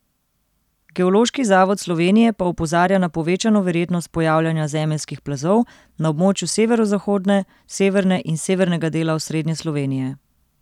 Geološki zavod Slovenije pa opozarja na povečano verjetnost pojavljanja zemeljskih plazov na območju severozahodne, severne in severnega dela osrednje Slovenije.